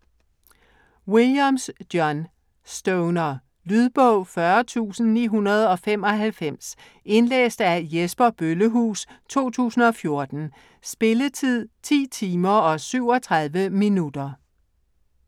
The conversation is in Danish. Williams, John: Stoner Lydbog 40995 Indlæst af Jesper Bøllehuus, 2014. Spilletid: 10 timer, 37 minutter.